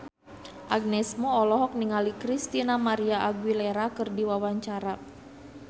Agnes Mo olohok ningali Christina María Aguilera keur diwawancara